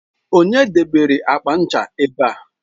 Onye debere akpa ncha a ebe a?